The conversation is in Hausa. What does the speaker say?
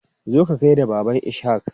Zo ka gaida Baban Ishaq!